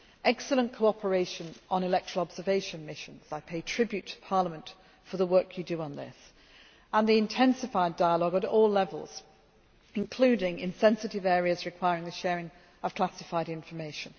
Excellent cooperation on election observation missions I pay tribute to Parliament for the work you do on this and the intensified dialogue at all levels, including in sensitive areas requiring the sharing of classified information.